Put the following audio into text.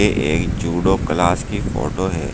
ए एक judo class की photo है।